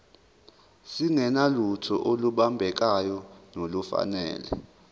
singenalutho olubambekayo nolufanele